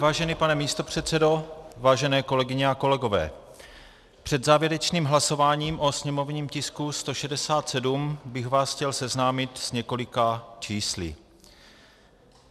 Vážený pane místopředsedo, vážené kolegyně a kolegové, před závěrečným hlasováním o sněmovním tisku 167 bych vás chtěl seznámit s několika čísly.